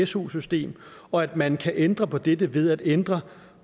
su system og at man kan ændre på dette ved at ændre